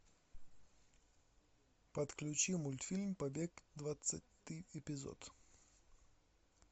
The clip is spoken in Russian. подключи мультфильм побег двадцатый эпизод